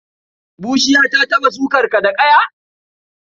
Bushiya ta taɓa sukar ka da ƙaya?